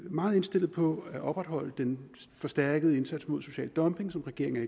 meget indstillet på at opretholde den forstærkede indsats mod social dumping som regeringen